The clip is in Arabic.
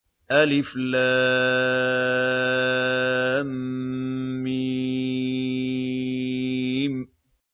الم